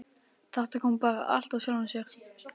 Þetta kom bara allt af sjálfu sér.